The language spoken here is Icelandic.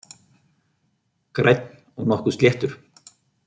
Grænn og nokkuð sléttur